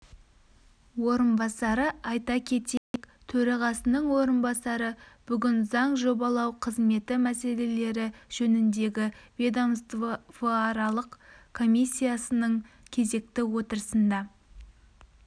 орынбасары айта кетейік төрағасының орынбасары бүгін заң жобалау қызметі мәселелері жөніндегі ведомствоаралық комиссиясының кезекті отырысында